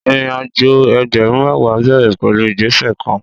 Ìrínàjọ ẹgbẹrún mẹwa bẹẹrẹ pẹlu ìgbẹsẹ kàn